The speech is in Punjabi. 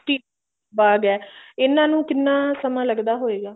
ਟੀ ਬਾਗ ਐ ਇਹਨਾਂ ਨੂੰ ਕਿੰਨਾ ਸਮਾਂ ਲੱਗਦਾ ਹੋਏਗਾ